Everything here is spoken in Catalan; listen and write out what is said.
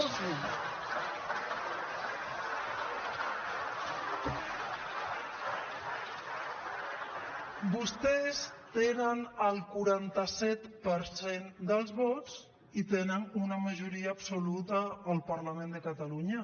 vostès tenen el quaranta set per cent dels vots i tenen una majoria absoluta al parlament de catalunya